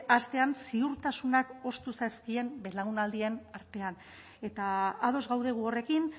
astean ziurtasunak ostu zaizkien belaunaldien artean eta ados gaude gu horrekin